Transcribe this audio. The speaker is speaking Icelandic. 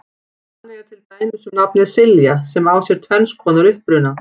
Þannig er til dæmis um nafnið Silja sem á sér tvenns konar uppruna.